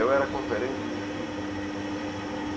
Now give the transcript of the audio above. Eu era conferente de firmas.